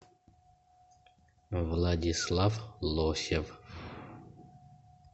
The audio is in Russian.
владислав лосев